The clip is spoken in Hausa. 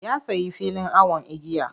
Ya sayi fili awon igiya.